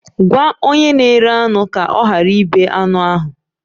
Gwa onye na-ere anụ ka ọ ghara ịbe anụ ahụ!